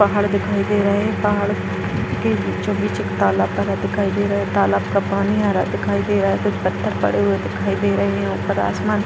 पहाड़ दिखाई दे रहे पहाड़ के बीचो-बिच एक तालाब भरा दिखाई दे रहा है | तालाब का पानी हरा दिखाई दे रहा है कुछ पत्थर पड़े हुए दिखई दे रहे ऊपर आसमान --